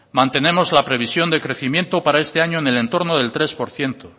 mantenemos la previsión de crecimiento para este año en el entorno del tres por ciento